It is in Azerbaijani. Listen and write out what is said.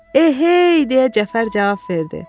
Eh hey, deyə Cəfər cavab verdi.